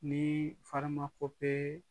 Ni farimakope